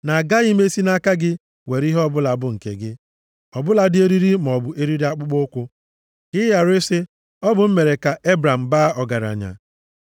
na agaghị m esi nʼaka gị were ihe ọbụla bụ nke gị, ọ bụladị eriri maọbụ eriri akpụkpọụkwụ. Ka ị ghara ị sị, ‘Ọ bụ m mere ka Ebram baa ọgaranya.’